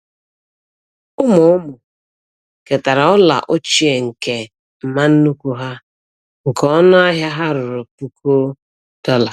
Ụmụ ụmụ ketara ọla ochie nke mma nnukwu ha, nke ọnụ ahịa ha ruru puku dọla.